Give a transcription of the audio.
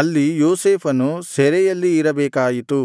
ಅಲ್ಲಿ ಯೋಸೇಫನು ಸೆರೆಯಲ್ಲಿ ಇರಬೇಕಾಯಿತು